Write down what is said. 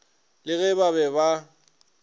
le ge ba be ba